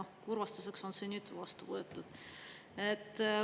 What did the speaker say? Kurvastuseks on see nüüd vastu võetud.